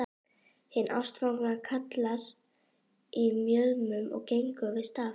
Hin ástfangna kalkar í mjöðm og gengur við staf.